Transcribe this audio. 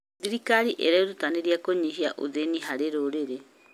Thirikari ĩrerutanĩria kũnyihia ũthĩni harĩ rũrĩrĩ.